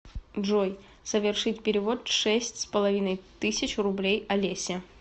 джой совершить перевод шесть с половиной тысяч рублей олесе